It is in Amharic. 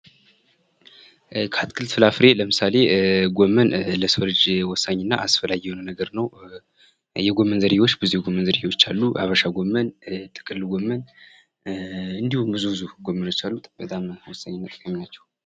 ከአትክልት ፍራፍሬ ለምሳሌ ጎመን ለሰው ልጅ ወሳኝና አስፈላጊ የሆነ ነገር ነው የጎመን ዝርያዎች ብዙ የጎመን ዝርያዎች አሉ ሀበሻ ጎመን ጥቅል ጎመን እንዲሁም ብዙ ብዙ ጎመኖች አሉት በጣም ወሳኝ ምግብ ናቸው ::